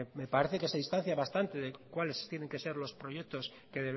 me parece que se distancia bastante de cuáles tienen que ser los proyectos que